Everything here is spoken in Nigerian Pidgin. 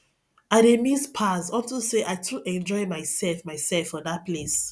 i dey miss pars unto say i too enjoy myself myself for dat place